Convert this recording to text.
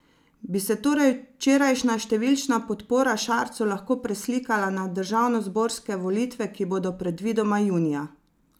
Bi se torej včerajšnja številčna podpora Šarcu lahko preslikala na državnozborske volitve, ki bodo predvidoma junija?